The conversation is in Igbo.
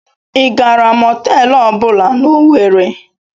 I gaara mọtelụ ọbụla n'Owerri?